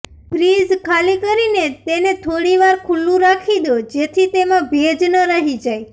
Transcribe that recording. fridge ખાલી કરીને તેને થોડીવાર ખુલ્લુ રાખી દો જેથી તેમાં ભેજ ન રહી જાય